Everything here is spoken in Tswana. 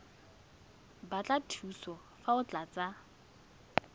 batla thuso fa o tlatsa